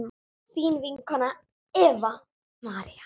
þín vinkona Eva María.